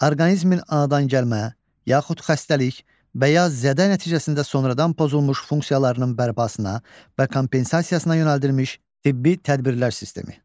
Orqanizmin anadangəlmə, yaxud xəstəlik və ya zədə nəticəsində sonradan pozulmuş funksiyalarının bərpasına və kompensasiyasına yönəldilmiş tibbi tədbirlər sistemi.